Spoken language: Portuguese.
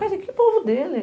Mas que povo dele?